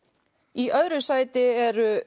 í öðru sæti eru